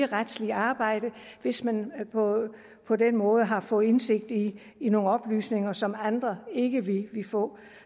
retslige arbejde hvis man på på den måde har fået indsigt i i nogle oplysninger som andre ikke ville få